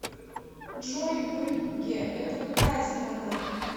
джой брюгге это какая страна